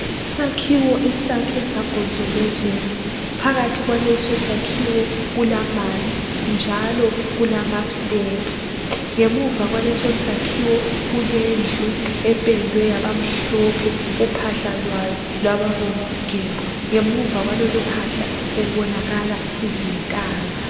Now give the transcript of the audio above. Isakhiwo esakhwe sagonjozelwa .Phakathi kwaleso sakhiwo kulamanzi njalo kulama"steps".Ngemuva kwaleso sakhiwo kulendlu ependwe yabamhlophe, uphahla lwayo lwababombvu gebhu. Ngemuva kwalolu phahla kubonakala izintaba.